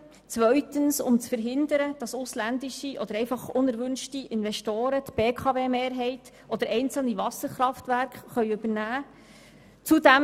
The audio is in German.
Zweitens wollen wir verhindern, dass ausländische oder einfach unerwünschte Investoren die BKW-Mehrheit oder einzelne Wasserkraftwerke übernehmen können.